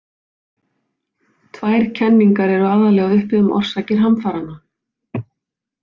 Tvær kenningar eru aðallega uppi um orsakir hamfaranna.